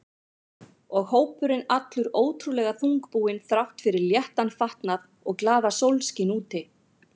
Og hópurinn allur ótrúlega þungbúinn þrátt fyrir léttan fatnað og glaðasólskin úti.